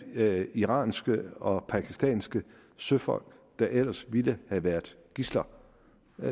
hjalp iranske og pakistanske søfolk der ellers ville have været gidsler